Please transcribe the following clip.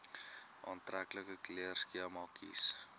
aantreklike kleurskema kies